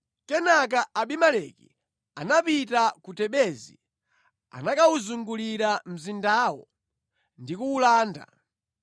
Kenaka Abimeleki anapita ku Tebezi. Anakawuzungulira mzindawo ndi kuwulanda.